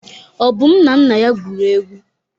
Obum na nna ya gwuru egwu.